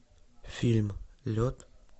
фильм лед